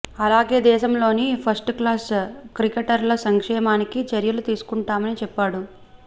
అలాగే దేశంలోని first class క్రికెటర్ల సంక్షేమానికి చర్యలు తీసుకుంటామని చెప్పాడు